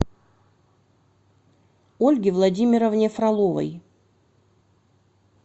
ольге владимировне фроловой